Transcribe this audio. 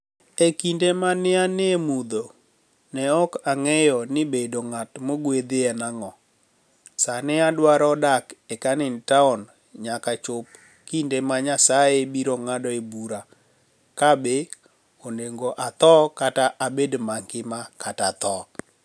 E kinide ma ni e ani e mudho, ni e ok anig'eyo nii bedo nig'at mogwedhi eni anig'o. Sanii, adwaro dak e Caniniinig Towni niyaka chop kinide ma niyasaye biro nig'adoe bura kabe oni ego atho kata abed manigima kata athoo.